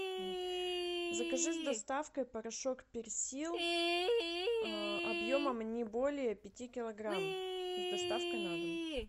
закажи с доставкой порошок персил объемом не более пяти килограмм с доставкой на дом